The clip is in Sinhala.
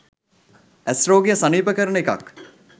ඇස් රෝගය සනීප කරන එකක්.